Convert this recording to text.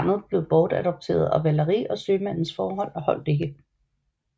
Barnet blev bortadopteret og Valerie og sømandens forhold holdt ikke